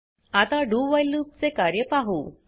आता do while loop चे कार्य पाहु